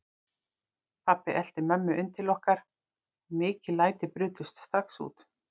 Pabbi elti mömmu inn til okkar og mikil læti brutust strax út.